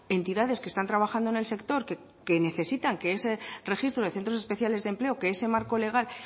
entidades que están trabajando en el sector que necesitan que ese registro de centros especiales de empleo que ese marco legal